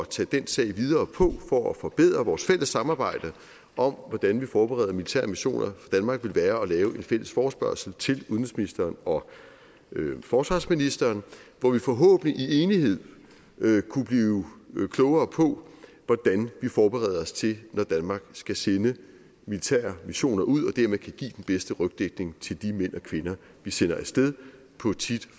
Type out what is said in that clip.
tage den sag videre på for at forbedre vores fælles samarbejde om hvordan vi forbereder militære missioner danmark ville være at lave en fælles forespørgsel til udenrigsministeren og forsvarsministeren hvor vi forhåbentlig i enighed kunne blive klogere på hvordan vi forbereder os til det når danmark skal sende militære missioner ud og dermed kan give den bedste rygdækning til de mænd og kvinder vi sender af sted på tit